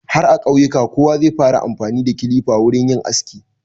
Har a ƙauyuka kowa zai fara amfani da kilifa wurin yin aski.